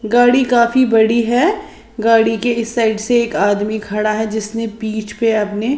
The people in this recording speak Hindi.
गाड़ी काफी बड़ी है गाड़ी के इस साइड से एक आदमी खड़ा है जिसने पीछ पे अपने--